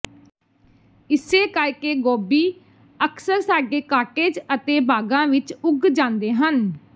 ਇਸੇ ਕਰਕੇ ਗੋਭੀ ਅਕਸਰ ਸਾਡੇ ਕਾਟੇਜ ਅਤੇ ਬਾਗਾਂ ਵਿਚ ਉੱਗ ਜਾਂਦੇ ਹਨ